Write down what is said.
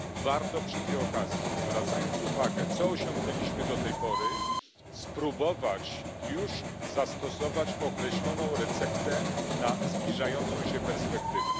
Warto przy tej okazji, zwracając uwagę na to co osiągnęliśmy do tej pory, spróbować już zastosować określoną receptę na zbliżającą się perspektywę.